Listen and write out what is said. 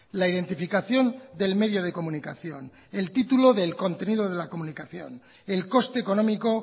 la identificación del medio de comunicación el título del contenido de la comunicación el coste económico